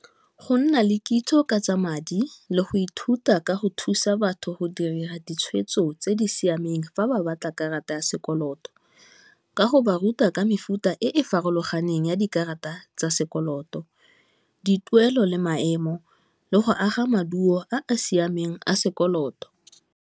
Go nna le kitso ka tsa madi le go ithuta ka go thusa batho go dira ditshwetso tse di siameng fa ba batla karata ya sekoloto, ka go ba ruta ka mefuta e e farologaneng ya dikarata tsa sekoloto, dituelo le maemo, le go aga maduo a a siameng a sekoloto.